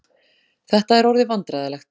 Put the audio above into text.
Þetta er orðið vandræðalegt.